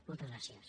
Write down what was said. moltes gràcies